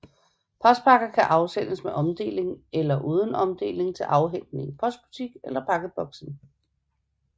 Postpakker kan afsendes med omdeling eller uden omdeling til afhentning i postbutik eller pakkeboksen